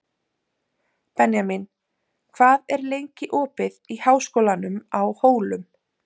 Benjamín, hvað er lengi opið í Háskólanum á Hólum?